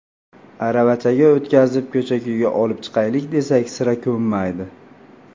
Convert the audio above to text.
Aravachaga o‘tkazib, ko‘cha-ko‘yga olib chiqaylik desak, sira ko‘nmaydi.